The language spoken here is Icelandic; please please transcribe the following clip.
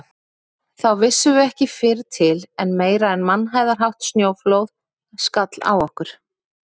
Þá vissum við ekki fyrr til en meira en mannhæðarhátt snjóflóð skall á okkur.